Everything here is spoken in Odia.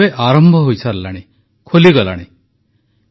ଅର୍ଥାତ ଆର୍ଥିକ ବ୍ୟବସ୍ଥାର ଗୋଟିଏ ବଡ଼ ଅଂଶ ଏବେ ଆରମ୍ଭ ହୋଇସାରିଲାଣି ଖୋଲିଗଲାଣି